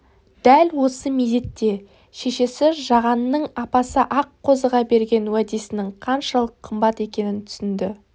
дәл осы мезетте шешесі жағанның апасы аққозыға берген уәдесінің қаншалық қымбат екенін түсінді